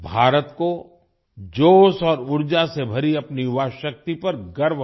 भारत को जोश और ऊर्जा से भरी अपनी युवा शक्ति पर गर्व है